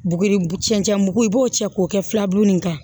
Buguri cɛncɛn mugu i b'o cɛ k'o kɛ filaburu in kan